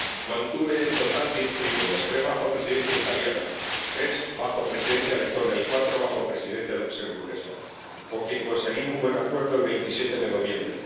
Mantuve en total diez diálogos tripartitos tres bajo Presidencia italiana, tres bajo Presidencia letona y cuatro bajo Presidencia luxemburguesa, con quien conseguí un buen acuerdo el 27 de noviembre